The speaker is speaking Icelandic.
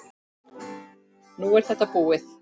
Nú er þetta búið.